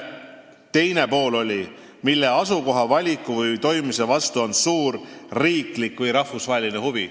Siin oli kirjas: "mille asukoha valiku või toimimise vastu on suur riiklik või rahvusvaheline huvi.